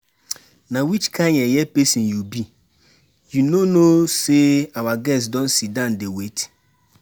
Na which kin yeye person you be? You no know say our guests don sit down dey wait